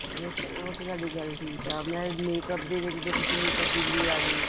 ਉਹ ਉਹ ਤਾਂ ਤੁਹਾਡੀ ਗੱਲ ਠੀਕ ਹੈ make up ਦੇ ਦੇਖੋ ਕਿੰਨੀ ਤਬਦੀਲੀ ਆ ਗਈ ਆ